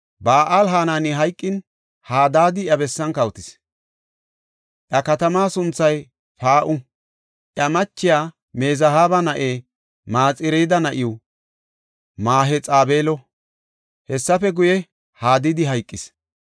Ba7al-Hanani hayqin, Hadaadi iya bessan kawotis; iya katamaa sunthay Paa7u. Iya machiya Mezahaaba na7e Maxireedi na7iw Mahexabeelo. Hessafe guye, Hadaadi hayqis.